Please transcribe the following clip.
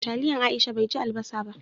Taliyan Aisha bai ji albasa ba.